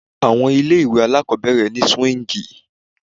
Àwọn ilé ìwé aláàkọ́bẹ̀rẹ̀ ni swíǹgì.